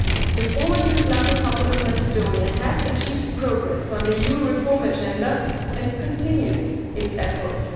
The Former Yugoslav Republic of Macedonia has achieved progress on the EU reform agenda and continues its efforts.